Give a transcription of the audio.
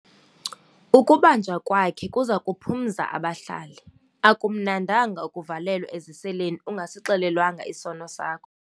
Ukubanjwa kwakhe kuza kuphumza abahlali. akumnandanga ukuvalelwa eziseleni ungasixelelwanga isono sakho